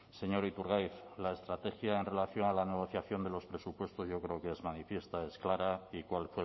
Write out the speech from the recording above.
señor iturgaiz la estrategia en relación a la negociación de los presupuestos yo creo que es manifiesta es clara y cuál